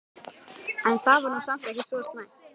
En það var nú samt ekki svo slæmt.